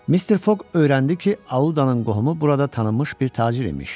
Mister Foq öyrəndi ki, Audanın qohumu burada tanınmış bir tacir imiş.